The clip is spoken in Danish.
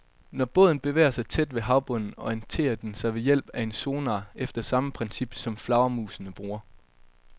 Når båden bevæger sig tæt ved havbunden, orienterer den sig ved hjælp af en sonar efter samme princip, som flagermusene bruger.